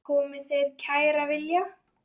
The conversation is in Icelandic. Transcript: Komi þeir sem kæra vilja.